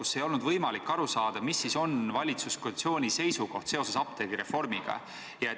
Ei ole olnud võimalik aru saada, mis on valitsuskoalitsiooni seisukoht seoses apteegireformiga.